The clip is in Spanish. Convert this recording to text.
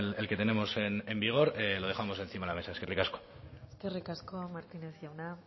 el que tenemos en vigor lo dejamos encima de la mesa eskerrik asko eskerrik asko martínez jauna